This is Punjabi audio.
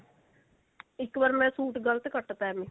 ਇੱਕ ਵਾਰ ਮੈਂ ਸੂਟ ਗਲਤ ਕੱਟ ਤਾ ਏਵੀ